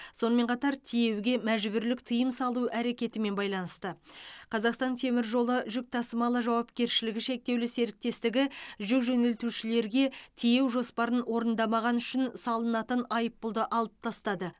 сонымен қатар тиеуге мәжбүрлік тыйым салу әрекетімен байланысты қазақстан темір жолы жүк тасымалы жауапкершілігі шектеулі серіктестігі жүк жөнелтушілерге тиеу жоспарын орындамағаны үшін салынатын айыппұлды алып тастады